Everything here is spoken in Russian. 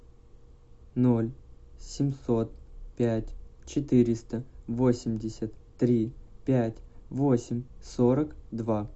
ноль семьсот пять четыреста восемьдесят три пять восемь сорок два